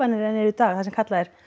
en eru í dag það sem kallað er